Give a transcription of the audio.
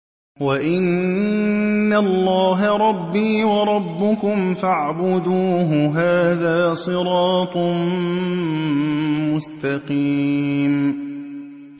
وَإِنَّ اللَّهَ رَبِّي وَرَبُّكُمْ فَاعْبُدُوهُ ۚ هَٰذَا صِرَاطٌ مُّسْتَقِيمٌ